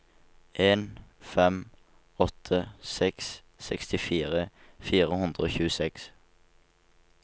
en fem åtte seks sekstifire fire hundre og tjueseks